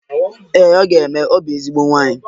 Ee ọ ga-eme, ọ bụ ezigbo nwaanyi